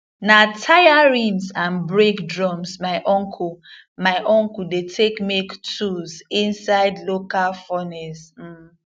na tyre rims and brake drums my uncle my uncle dey take make tools inside local furnace um